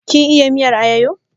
Kin iya miyar alayyaho?